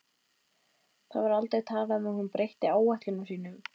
Það var aldrei talað um að hún breytti áætlunum sínum.